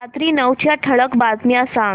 रात्री नऊच्या ठळक बातम्या सांग